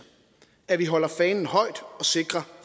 at vi holder fanen højt og sikrer